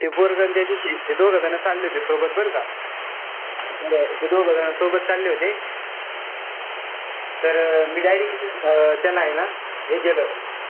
ते पोरग अन त्या दुसरी ते दोघं जण चालले होते सोबत बरं का. ते दोघं जण सोबत चालले होते. तर direct त्यांना हे ना हे केलं.